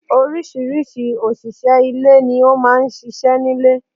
Orísìírísìí òṣìṣẹ́ ilé ni ó máa ń ṣíṣe nílé.